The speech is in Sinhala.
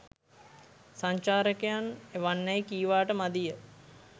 සංචාරකයන් එවන්නැයි කීවාට මදිය.